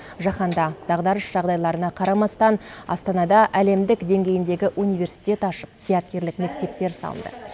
жаһанда дағдарыс жағдайларына қарамастан астанада әлемдік деңгейіндегі университет ашып зияткерлік мектептер салынды